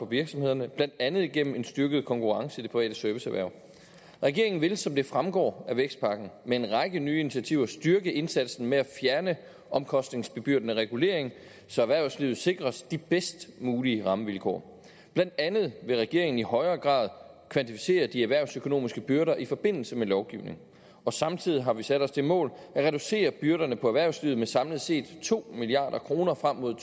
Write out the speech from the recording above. virksomhederne blandt andet gennem en styrket konkurrence i det private serviceerhverv regeringen vil som det fremgår af vækstpakken med en række nye initiativer styrke indsatsen med at fjerne omkostningsbebyrdende regulering så erhvervslivet sikres de bedst mulige rammevilkår blandt andet vil regeringen i højere grad kvantificere de erhvervsøkonomiske byrder i forbindelse med lovgivning og samtidig har vi sat os det mål at reducere byrderne på erhvervslivet med samlet set to milliard kroner frem mod